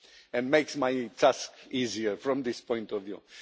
and makes my task easier from this point of view.